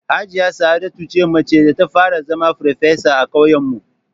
Hajiya Sa'adatu ce macen da ta fara zama farfesa a ƙauyen mu